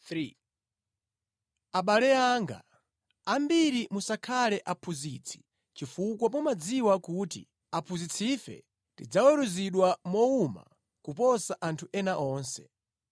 Abale anga, ambiri musakhale aphunzitsi chifukwa mumadziwa kuti aphunzitsife tidzaweruzidwa mowuma kuposa anthu ena onse.